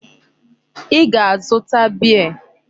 Ị ga-azụta beer!